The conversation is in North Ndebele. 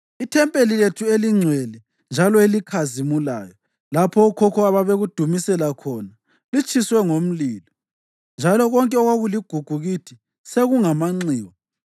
Ithempeli lethu elingcwele njalo elikhazimulayo lapho okhokho ababekudumisela khona, litshiswe ngomlilo, njalo konke okwakuligugu kithi sekungamanxiwa.